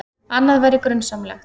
Annað væri grunsamlegt.